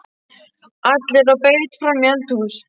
ALLIR Á BEIT FRAM Í ELDHÚS!